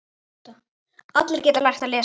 Allir geta lært að lesa.